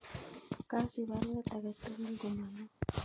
Kasich baruet agetugul komolo